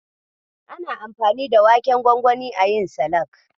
Ana anfani da waken gwangwani ayi salak.